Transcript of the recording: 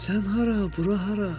Sən hara, bura hara?